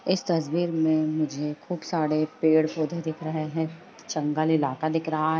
इस तस्वीर में मुझे खुब सारे पेड़ पौधे दिख रहे हैं जंगल इलाका दिख रहा है।